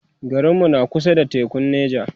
garinmu na kusa da tekun Nija